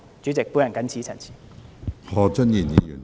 主席，我謹此陳辭。